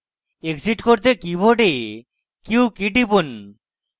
exit করতে keyboard q key টিপুন